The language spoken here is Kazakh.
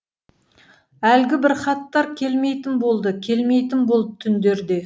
әлгі бір хаттар келмейтін болды келмейтін болды түндерде